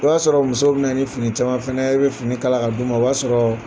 O y'a sɔrɔ musow bɛna ni fini caman fana ye i bɛ fini kala ka d 'u ma, o b'a sɔrɔ